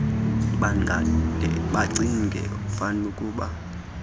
bangade bacinge fanukuba